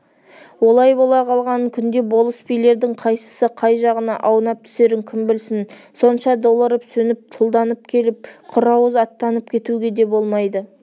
олай бола қалған күнде болыс билердің қайсысы қай жағына аунап түсерін кім білсін сонша долырып сөніп тұлданып келіп құр ауыз аттанып кетуге де болмайды